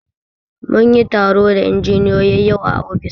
Mun yi taro da injiniyoyi yau a ofis